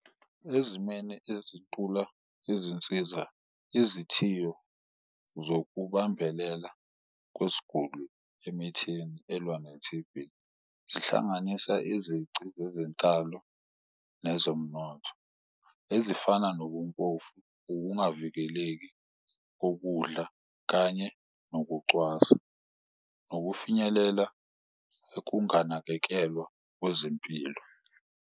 Ezimeni ezintula izinsiza izithiyo zokubambelela kwesguli emithini elwa ne-T_B, zihlanganisa izici zezenkalo nezomnotho ezifana nobumpofu nokungavikeleki kokudla kanye nokucwasa, nokufinyelela ekunganakekelwa kwezempilo.